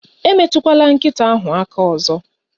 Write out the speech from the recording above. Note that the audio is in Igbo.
Emetụkwala nkịta ahụ aka ọzọ